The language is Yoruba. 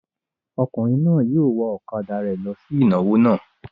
Ọkùnrin náà yóò wa ọ̀kadà rẹ̀ lọ sí ìnáwó náà.